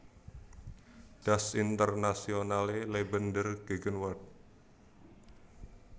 Das internationale Leben der Gegenwart